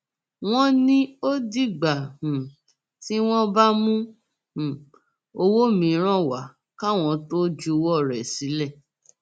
wọn ní ó dìgbà um tí wọn bá mú um owó mìíràn wá káwọn tóo juwọ rẹ sílẹ